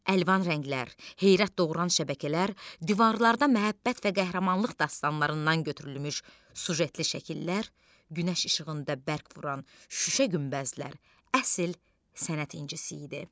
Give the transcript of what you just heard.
Əlvan rənglər, heyrət doğuran şəbəkələr, divarlarda məhəbbət və qəhrəmanlıq dastanlarından götürülmüş süjetli şəkillər, günəş işığında bərq vuran şüşə günbəzlər, əsl sənət incisi idi.